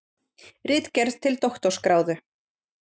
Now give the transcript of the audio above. Ritgerð til doktorsgráðu.